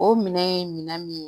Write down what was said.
O minɛn ye minɛ min ye